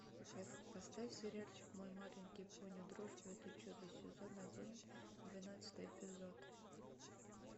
поставь сериальчик мой маленький пони дружба это чудо сезон один двенадцатый эпизод